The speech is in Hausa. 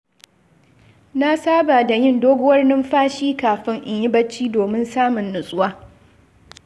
Na saba da yin doguwar numfashi kafin in yi bacci domin samun nutsuwa.